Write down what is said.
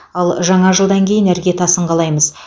ал жаңа жылдан кейін іргетасын қалаймыз